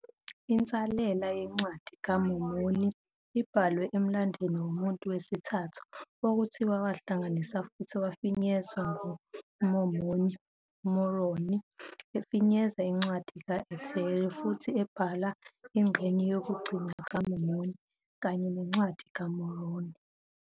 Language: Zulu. Insalela yeNcwadi kaMormoni ibhalwe emlandweni womuntu wesithathu, okuthiwa wahlanganiswa futhi wafinyezwa nguMormoni, noMoroni efinyeza iNcwadi ka-Ether futhi ebhala ingxenye yokugcina kaMormoni kanye neNcwadi kaMoroni.